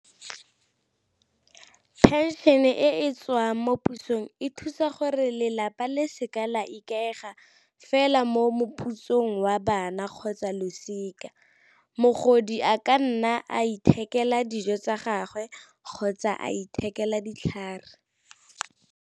Pension e e tswang mo pusong e thusa gore lelapa le seka la ikaega fela mo meputsong wa bana, kgotsa losika. Mogodi a ka nna a ithekela dijo tsa gagwe kgotsa a ithekela ditlhare.